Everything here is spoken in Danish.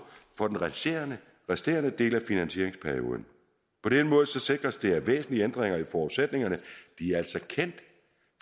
for den resterende resterende del af finansieringsperioden på den måde sikres det at væsentlige ændringer i forudsætningerne